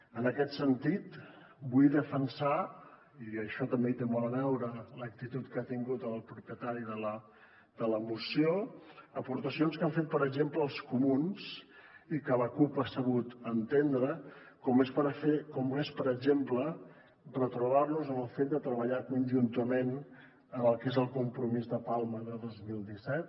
en aquest sentit vull defensar i en això també hi té molt a veure l’actitud que ha tingut el propietari de la moció aportacions que han fet per exemple els comuns i que la cup ha sabut entendre com per exemple retrobar nos amb el fet de treballar conjuntament en el que és el compromís de palma de dos mil disset